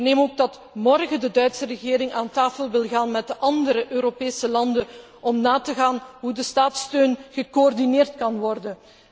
Ik verneem ook dat morgen de Duitse regering aan tafel wil gaan met de andere Europese landen om na te gaan hoe de staatssteun gecoördineerd kan worden.